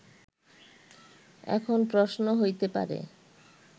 এখন প্রশ্ন হইতে পারে